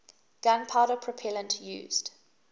gunpowder propellant used